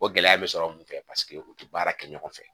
O gɛlɛya bɛ sɔrɔ mun fɛ paseke u tɛ baara kɛ ɲɔgɔn fɛ